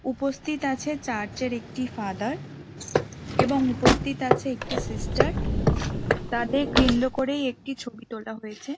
উপস্থিত আছে চার্চের একটি ফাদার এবং উপস্থিত আছে একটি সিস্টার তাদের কেন্দ্র করেই একটি ছবি তোলা হয়েছে ।